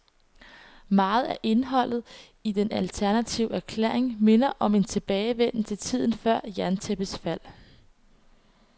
Meget af indholdet i den alternative erklæring minder om en tilbagevenden til tiden før jerntæppets fald.